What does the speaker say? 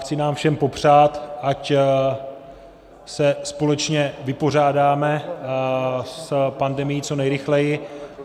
Chci nám všem popřát, ať se společně vypořádáme s pandemií co nejrychleji.